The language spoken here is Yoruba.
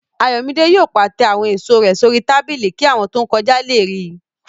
Ayọ̀mídé yóò pàtẹ àwọn èèso rẹ̀ sórí tábìlì kí àwọn tó n kọjá lè ríi